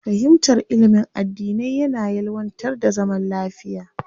Fahimtar ilimin addinai yana ƴelwantar da zaman lafiya.